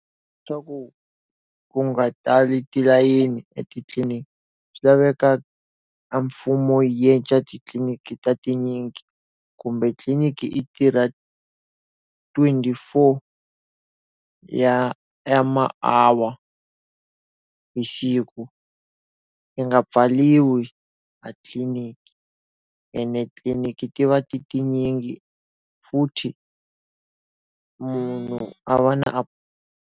Swa ku ku nga tali tilayeni etitliniki swi laveka a mfumo yi endla titliliniki ta tinyingi kumbe tliliniki i tirha twenty-four ya ya ma-hour hi siku. Yi nga pfariwi a tliliniki ene tliliniki ti va ti tinyingi futhi munhu a va na .